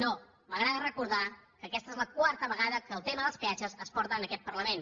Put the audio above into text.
no m’agrada recordar que aquesta és la quarta vegada que el tema dels peatges es porta a aquest parlament